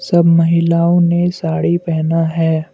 सब महिलाओं ने साड़ी पहना है।